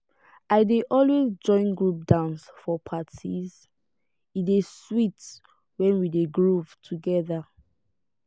i dey always join group dance for parties e dey sweet when we dey groove together.